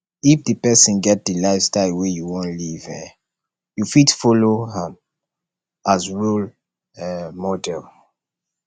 if di person get di lifestyle wey you wan live um you fit follow um am as role um model